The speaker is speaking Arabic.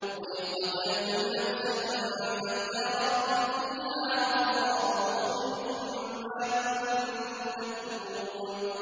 وَإِذْ قَتَلْتُمْ نَفْسًا فَادَّارَأْتُمْ فِيهَا ۖ وَاللَّهُ مُخْرِجٌ مَّا كُنتُمْ تَكْتُمُونَ